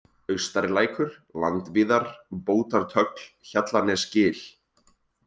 Austarilækur, Landvíðar, Bótartögl, Hjallanesgil